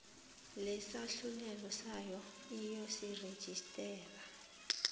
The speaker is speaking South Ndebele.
lesahlulelo sayo iyosirejistara